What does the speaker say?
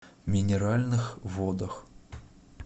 минеральных водах